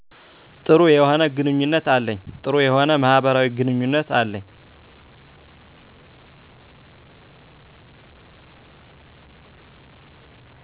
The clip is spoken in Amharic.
ጥሩ የሆነ ግንኙነት አለኝ ጥሩ የሆነ ማህበራዊ ግኑኝነት አለኝ